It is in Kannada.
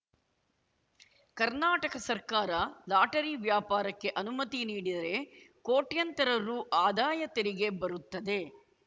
ಕರ್ನಾಟಕ ಸರ್ಕಾರ ಲಾಟರಿ ವ್ಯಾಪಾರಕ್ಕೆ ಅನುಮತಿ ನೀಡಿದರೆ ಕೋಟ್ಯಂತರ ರು ಆದಾಯ ತೆರಿಗೆ ಬರುತ್ತದೆ